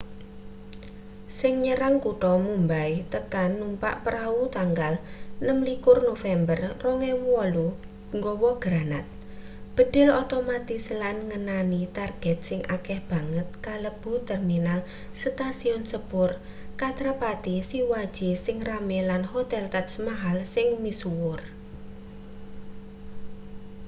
sing nyerang kutha mumbai tekan numpak prau tanggal 26 november 2008 gawa granat bedhil otomatis lan ngenani target sing akeh banget kalebu terminal stasiun sepur chhatrapati shivaji sing rame lan hotel taj maahal sing misuwur